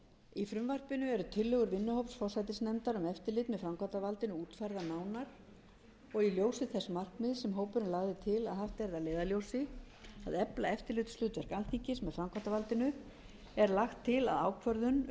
í frumvarpinu eru tillögur vinnuhóps forsætisnefndar um eftirlit með framkvæmdarvaldinu útfærðar nánar og í ljósi þess markmiðs sem hópurinn lagði til að haft yrði að leiðarljósi að efla eftirlitshlutverk alþingis með framkvæmdarvaldinu er lagt til í frumvarpinu að ákvörðun um